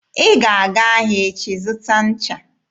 Ị ga-aga ahịa echi zụta ncha!